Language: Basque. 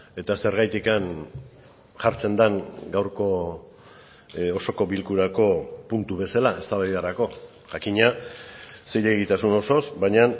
eta zergatik jartzen den gaurko osoko bilkurako puntu bezala eztabaidarako jakina zilegitasun osoz baina